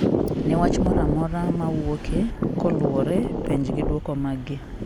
ne wach mora amora mowuoke, koluore, penjgi duoko mag gi